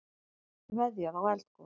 Veðjað á eldgos